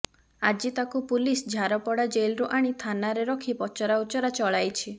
ଆଜି ତାକୁ ପୁଲିସ ଝାରପଡ଼ା ଜେଲ୍ରୁ ଆଣି ଥାନାରେ ରଖି ପଚରାଉଚରା ଚଳାଇଛି